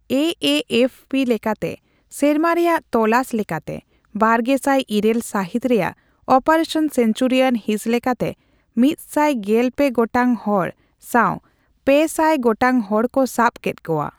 AFP ᱞᱮᱠᱟᱛᱮ ᱥᱮᱨᱢᱟ ᱨᱮᱭᱟᱜ ᱛᱚᱞᱟᱥ ᱞᱮᱠᱟᱛᱮ ᱵᱟᱨᱜᱮᱥᱟᱭ ᱤᱨᱟᱹᱞ ᱥᱟᱹᱦᱤᱛ ᱨᱮᱭᱟᱜ ᱚᱯᱟᱨᱮᱥᱚᱱ ᱥᱮᱱᱪᱩᱨᱤᱭᱟᱱ ᱦᱤᱸᱥ ᱞᱮᱠᱟᱛᱮ ᱢᱤᱛᱥᱟᱭ ᱜᱮᱞᱯᱮ ᱜᱚᱴᱟᱝ ᱦᱚᱲ ᱥᱟᱣᱯᱮᱥᱟᱭ ᱜᱚᱴᱟᱝ ᱦᱚᱲ ᱠᱚ ᱥᱟᱵᱽ ᱠᱮᱫ ᱠᱚᱣᱟ ᱾